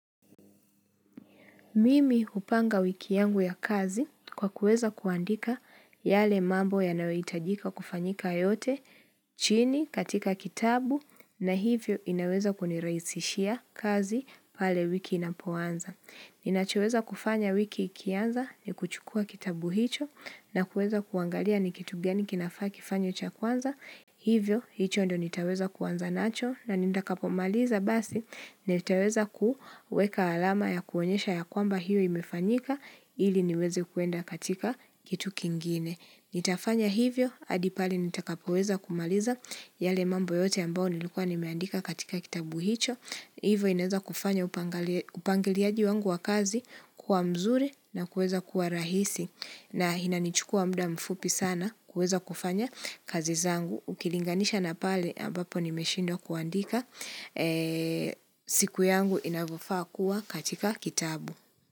Mimi hupanga wiki yangu ya kazi kwa kuweza kuandika yale mambo yanayo hitajika kufanyika yote chini katika kitabu na hivyo inaweza kunirahisishia kazi pale wiki inapoanza. Ninachoweza kufanya wiki ikianza ni kuchukua kitabu hicho na kuweza kuangalia ni kitu gani kinafaa kifanywe cha kwanza, hivyo hicho ndio nitaweza kuanza nacho na nitakapomaliza basi nitaweza kuweka alama ya kuonyesha ya kwamba hio imefanyika ili niweze kuenda katika kitu kingine. Nitafanya hivyo, hadi pale nitakapo weza kumaliza yale mambo yote ambayo nilikuwa nimeandika katika kitabu hicho, hivyo inaeza kufanya upangiliaji wangu wa kazi kuwa mzuri na kuweza kuwa rahisi na inanichukua muda mfupi sana kuweza kufanya kazi zangu, ukilinganisha na pale ambapo nimeshindwa kuandika, siku yangu inavyo faa kuwa katika kitabu.